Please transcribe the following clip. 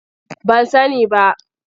Ban sani ba.